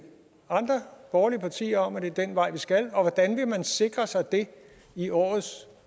andre borgerlige partier om at det er den vej vi skal og hvordan vil man sikre sig det i årets